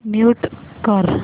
mute कर